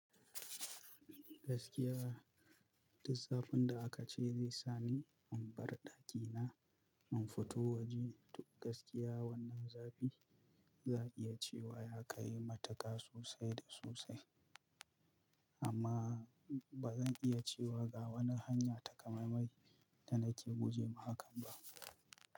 Gaskiya, duk zafinda aka ce zai sa ni in bar daki na, in fito waje, gaskiya wannan zafi, za iya cewa ya kai mataka sosai da sosai, amma ba zan iya cewa ga wani hanya takamaimai da nake guje ma hakan ba.